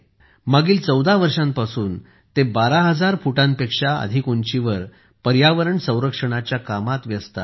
मागील 14 वर्षांपासून ते 12000 फुटांपेक्षा अधिक उंचीवर पर्यावरण संरक्षणाच्या कामात व्यस्त आहेत